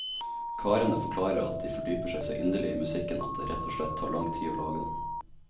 Karene forklarer at de fordyper seg så inderlig i musikken at det rett og slett tar lang tid å lage den.